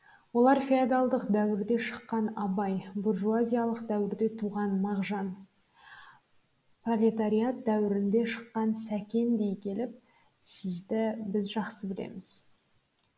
олар феодалдық дәуірде шыққан абай буржуазиялық дәуірде туған мағжан пролетариат дәуірінде шыққан сәкен дей келіп сізді біз жақсы білеміз